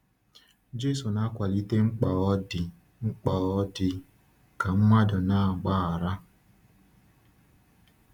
Jésù na-akwalite mkpa ọ dị mkpa ọ dị ka mmadụ na-agbaghara.